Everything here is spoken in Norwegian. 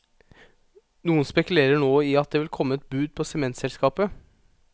Noen spekulerer nå i at det vil komme et bud på sementselskapet.